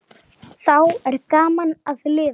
Þá er gaman að lifa!